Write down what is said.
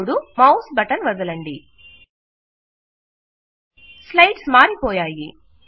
ఇప్పుడు mouse button వదలండి slides మారిపోయాయి